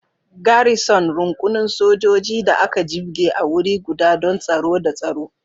Garrison, rukunin sojoji da aka jibge a wuri guda don tsaro da tsaro.